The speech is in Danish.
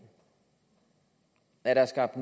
at der er skabt